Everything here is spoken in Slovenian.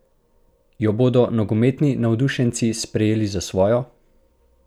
Jo bodo nogometni navdušenci sprejeli za svojo?